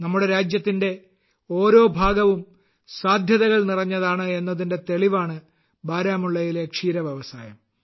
നമ്മുടെ രാജ്യത്തിന്റെ ഓരോ ഭാഗവും സാധ്യതകൾ നിറഞ്ഞതാണ് എന്നതിന്റെ തെളിവാണ് ബാരാമുള്ളയിലെ ക്ഷീര വ്യവസായം